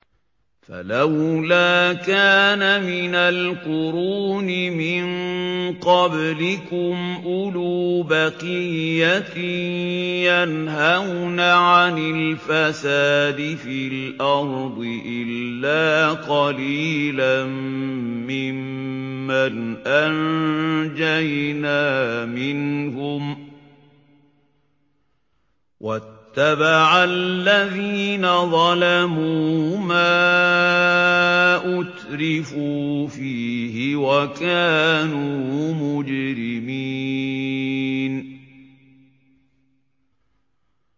فَلَوْلَا كَانَ مِنَ الْقُرُونِ مِن قَبْلِكُمْ أُولُو بَقِيَّةٍ يَنْهَوْنَ عَنِ الْفَسَادِ فِي الْأَرْضِ إِلَّا قَلِيلًا مِّمَّنْ أَنجَيْنَا مِنْهُمْ ۗ وَاتَّبَعَ الَّذِينَ ظَلَمُوا مَا أُتْرِفُوا فِيهِ وَكَانُوا مُجْرِمِينَ